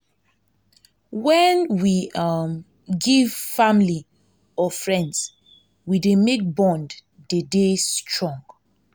um when we um give family or friends we dey make bond dey dey strong